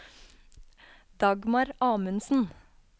Dagmar Amundsen